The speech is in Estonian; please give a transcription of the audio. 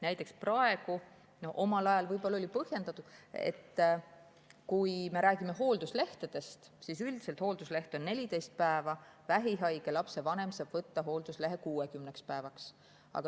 Näiteks oli omal ajal võib-olla põhjendatud, kui me räägime hoolduslehtedest, et üldiselt on hooldusleht 14 päeva, kuid vähihaige lapse vanem saab võtta hoolduslehe 60 päevaks.